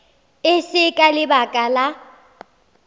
e se ka lebaka la